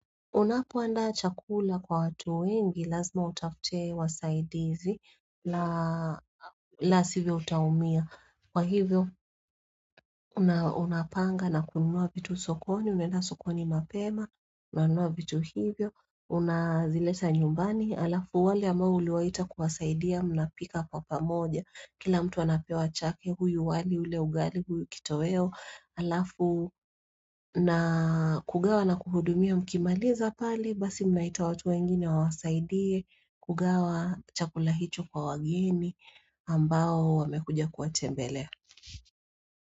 Unapoandaa chakula kwa watu wengi, lazima utafute wasaidizi, la sivyo utaumia. Kwa hivyo, unapanga na kununua vitu sokoni, unaenda sokoni mapema, unanunua vitu hivyo, unazileta nyumbani, halafu wale ambao uliwaita kuwasaidia mnapika kwa pamoja. Kila mtu anapewa chake huyu wali, yule ugali, huyu kitoweo, halafu na kugawa na kuhudumia mkimaliza pale, basi mnaita watu wengine wawasaidie kugawa chakula hicho kwa wageni ambao wamekuja kuwatembelea.